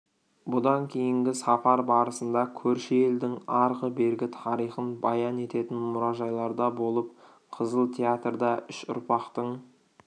бұдан кейінгі сапар барысында көрші елдің арғы-бергі тарихын баян ететін мұражайларда болып қызыл театрда үш ұрпақтың